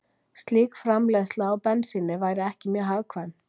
Slík framleiðsla á bensíni væri ekki mjög hagkvæm.